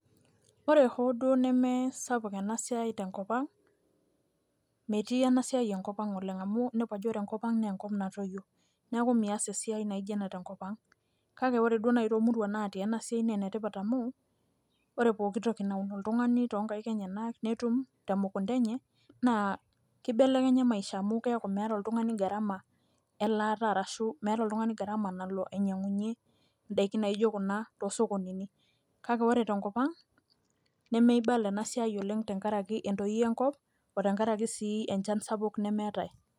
Ore hoo duo nemesapuk enasiai tenkop ang',metii enasiai enkop ang' oleng' amu, nepu ajo ore enkop ang',nenkop natoyio. Neeku mias esiai naijo ena tenkop ang'. Kake ore duo nai tomuruan natii enasiai nenetipat amu, ore poki toki naun oltung'ani tonkaik enyanak, netum temukunta enye, naa kibelekenya maisha amu, keeku meeta oltung'ani gharama elaata arashu, meeta oltung'ani gharama nalo ainyang'unye idaiki naijo kuna, tosokonini. Kake ore tenkop ang, nemeibala enasiai oleng tenkaraki entoyioi enkop,o tenkaraki si enchan sapuk nemeetae.